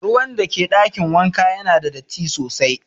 Ruwan da ke dakin wanka Yana da datti sosai.